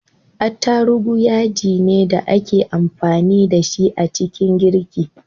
Attarugu yajine da ake amfani da shi a ciki girki